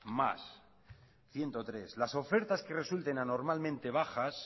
más ciento tres las ofertas que resulten anormalmente bajas